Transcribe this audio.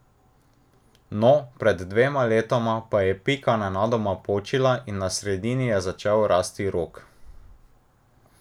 No, pred dvema letoma pa je pika nenadoma počila in na sredini je začel rasti rog.